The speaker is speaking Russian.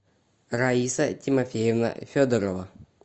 раиса тимофеевна федорова